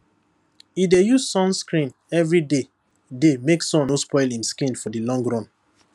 e dey use sunscreen every day day make sun no spoil im skin for the long run